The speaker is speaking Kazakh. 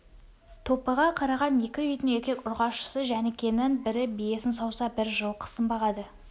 топыға қараған екі үйдің еркек-ұрғашысы жәнікенің бірі биесін сауса бірі жылқысын бағады